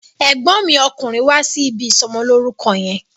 Ẹ̀gbọ́n mi okùnrin wá sí ibi ìsọmọlórúkọ yẹn.